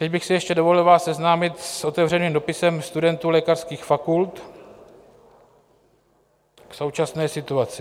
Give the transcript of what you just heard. Teď bych si ještě dovolil vás seznámit s otevřeným dopisem studentů lékařských fakult k současné situaci.